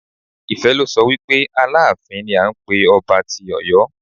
Ife lo so wi pe Aláàfin ni à ń pé ọba tí Ọ̀yọ́.